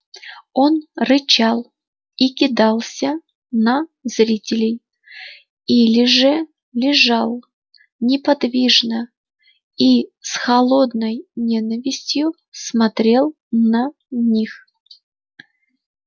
он рычал и кидался на зрителей или же лежал неподвижно и с холодной ненавистью смотрел на них